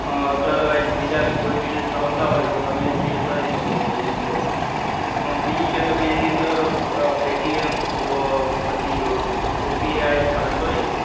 અમ otherwise બીજા કોઈ bills આવતા હોય તો તમે pay કરી શકો છો એની અંદરથી. બીજું કે તમે એની અંદર paytm, અમ પછી ઓપીઆઈ આપડે sorry